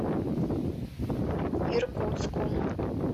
иркутском